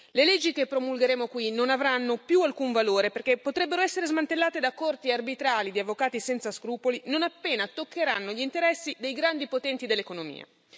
Le leggi che promulgheremo qui non avranno più alcun valore perché potrebbero essere smantellate da corti arbitrali di avvocati senza scrupoli, non appena toccheranno gli interessi dei grandi potenti dell'economia.